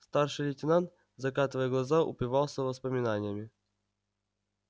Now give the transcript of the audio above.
старший лейтенант закатывая глаза упивался воспоминаниями